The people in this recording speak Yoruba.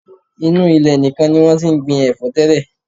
Inú ilẹ̀ nìkan ni wọ́n ti ń gbin ẹ̀fọ́ tẹ́lẹ̀.